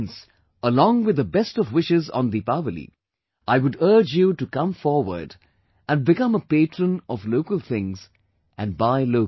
Hence along with the best of wishes on Deepawali, I would urge you to come forward and become a patron of local things and buy local